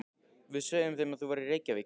Við sögðum þeim að þú værir í Reykjavík.